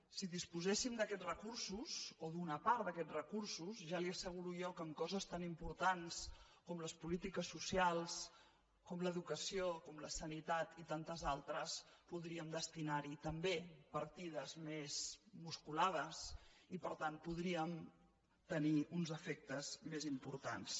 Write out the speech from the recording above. si disposéssim d’aquests recursos o d’una part d’aquests recursos ja li asseguro jo que en coses tan importants com les polítiques socials com l’educació com la sanitat i tantes altres podríem destinar hi també partides més musculades i per tant podríem tenir uns efectes més im portants